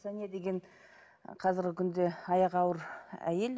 сәния деген қазіргі күнде аяғы ауыр әйел